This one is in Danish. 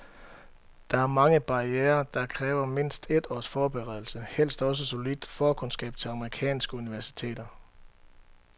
Der er mange barrierer, og det kræver mindst et års forberedelse, helst også solidt forkundskab til amerikanske universiteter.